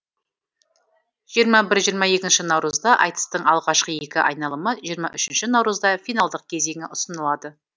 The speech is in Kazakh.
жиырма бір жиырма екінші наурызда айтыстың алғашқы екі айналымы жиырма үшінші наурызда финалдық кезеңі ұсынылады